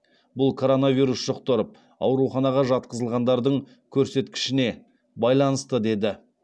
бұл коронавирус жұқтырып ауруханаға жатқызылғандардың көрсеткішіне байланысты деді